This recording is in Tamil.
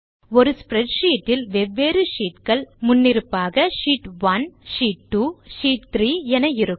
ஒரு ஸ்ப்ரெட்ஷீட் இல் வெவ்வேறு sheetகள் முன்னிருப்பாக ஷீட் 1 ஷீட் 2 ஷீட் 3 என இருக்கும்